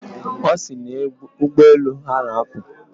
Ọ sị na ụgbọelu ha na-apụ.